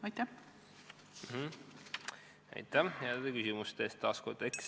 Aitäh taas heade küsimuste eest!